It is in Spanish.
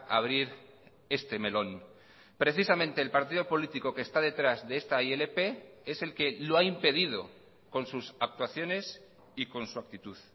abrir este melón precisamente el partido político que está detrás de está ilp es el que lo ha impedido con sus actuaciones y con su actitud